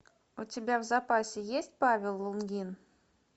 у тебя в запасе есть павел лунгин